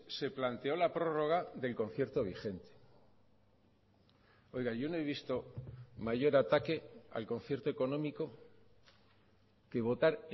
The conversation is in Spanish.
se planteó la prórroga del concierto vigente oiga yo no he visto mayor ataque al concierto económico que votar